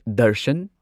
Darshan